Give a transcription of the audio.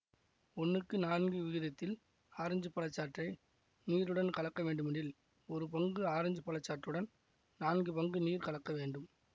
ஒன்னுக்கு நான்கு விகிதத்தில் ஆரஞ்சு பழச்சாற்றை நீருடன் கலக்க வேண்டுமெனில் ஒரு பங்கு ஆரஞ்சு பழச்சாற்றுடன் நான்கு பங்கு நீர் கலக்க வேண்டும்